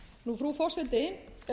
ágúst frú forseti